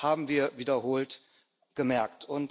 Das haben wir wiederholt gemerkt.